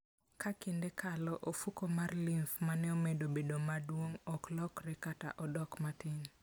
Ka kinde kalo, ofuko mar lymph ma ne omedo bedo maduong' ok lokre kata odok matin.